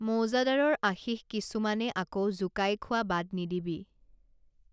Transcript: মৌজাদাৰৰ আশীষ কিছুমানে আকৌ জোকাই খোৱা বাদ নিদিবি